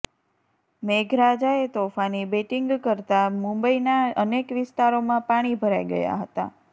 મેઘરાજાએ તોફાની બેટિંગ કરતાં મુંબઈના અનેક વિસ્તારોમાં પાણી ભરાઈ ગયા હતા